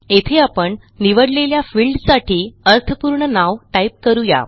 येथे आपण निवडलेल्या फिल्डसाठी अर्थपूर्ण नाव टाईप करू या